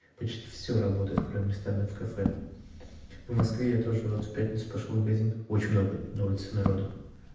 почти всё работает кроме ресторанов и кафе в москве я тоже вот в пятницу пошёл в магазин очень много на улице народу